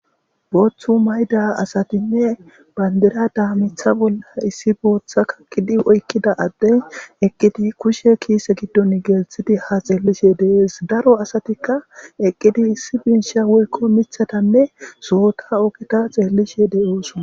booththu mayda asatinne bandira da mitha bolla issi booththa kaqidi oykkida adden eqqidi kushe kiise giddon geelthidi ha xeellishe deees daro asatikka eqqidi issi biinsha woykko mithatanne sohota ogita xeellishe de7oosuna